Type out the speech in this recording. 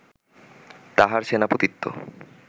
তাঁহার সেনাপতিত্ব